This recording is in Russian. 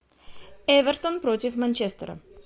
эвертон против манчестера